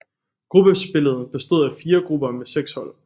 Gruppespillet bestod af fire grupper med seks hold